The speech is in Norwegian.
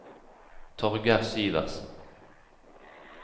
Torgeir Syversen